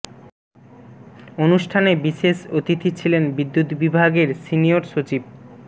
অনুষ্ঠানে বিশেষ অতিথি ছিলেন বিদ্যুৎ বিভাগের সিনিয়র সচিব ড